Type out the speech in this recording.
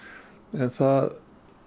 en það